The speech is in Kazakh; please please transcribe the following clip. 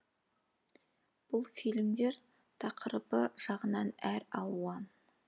бұл фильмдер тақырыбы жағынан әр алуан